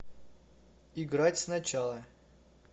играть сначала